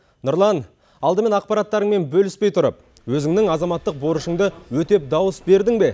нұрлан алдымен ақпараттарыңмен бөліспей тұрып өзіңнің азаматтық борышыңды өтеп дауыс бердің бе